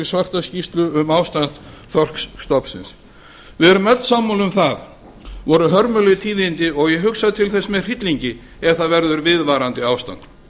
svartrar skýrslu um ástand þorskstofnsins við erum öll sammála um að það voru hörmuleg tíðindi og ég hugsa til þess með hryllingi ef það verður viðvarandi ástand